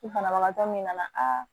Ni banabagatɔ min nana aa